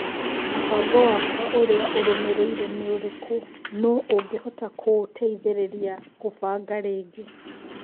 mũbango wakwa ũrĩa ũrũmĩrĩire nĩ ũrĩkũ nũũ ũngĩhota kũũteithĩrĩria gũbaga rĩgi